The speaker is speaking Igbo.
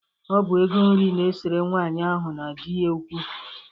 Ọ bụ ego nri na-esere nwaanyị ahụ na di ya okwu.